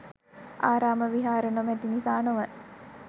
ආරාම විහාර නොමැති නිසා නොව